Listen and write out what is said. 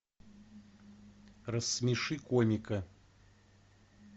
рассмеши комика